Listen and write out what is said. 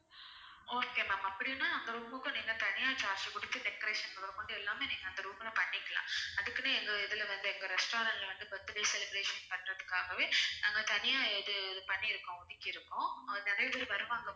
okay ma'am அப்படின்னா அந்த room க்கும் நீங்க தனியா charge குடுத்து decoration முதல் கொண்டு எல்லாமே நீங்க அந்த room ல பண்ணிக்கலாம் அதுக்குனே எங்க இதுல வந்து எங்க restaurant ல வந்து birthday celebration பண்றதுகாகவே நாங்க தனியா இது இது பண்ணிருக்கோம் ஒதுக்கிருக்கோம் அஹ் நிறைய பேரு வருவாங்க